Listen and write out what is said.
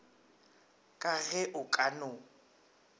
ka ge o ka no